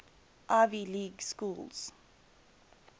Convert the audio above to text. ivy league schools